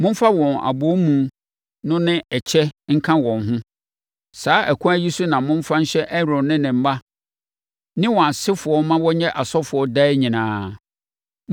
Momfa wɔn abɔwomu no ne ɛkyɛ nka wɔn ho. Saa ɛkwan yi so na momfa nhyɛ Aaron ne ne mma ne wɔn asefoɔ ma wɔnyɛ asɔfoɔ daa nyinaa.